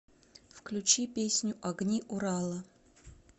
включи песню огни урала